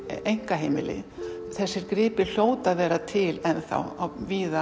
einkaheimili þessir gripir hljóta að vera til víða